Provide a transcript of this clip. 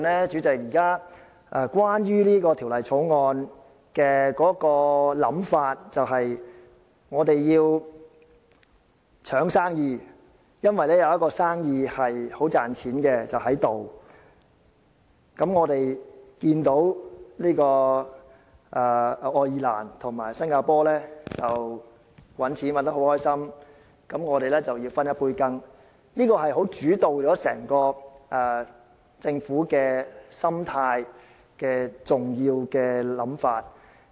主席，在現時整項《條例草案》的討論中，有關想法就是我們要爭取生意，因為眼前有一宗生意很賺錢，我們看到愛爾蘭和新加坡賺錢賺得很高興，便想分一杯羹，這是主導了政府整個心態的重要想法。